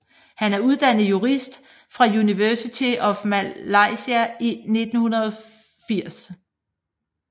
Han er uddannet jurist fra University of Malaya i 1980